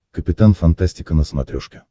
капитан фантастика на смотрешке